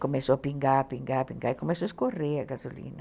Começou a pingar, pingar, pingar e começou a escorrer a gasolina.